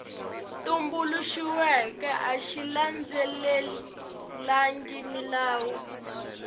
tumbuluxiweke a xi landzelelangi milawu